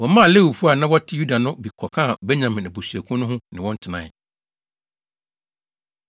Wɔmaa Lewifo a na wɔte Yuda no bi kɔkaa Benyamin abusuakuw no ho, ne wɔn tenae.